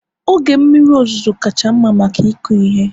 oge mmiri ozuzo kacha mma maka ịkụ ihe